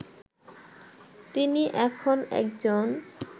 তিনি এখন একজন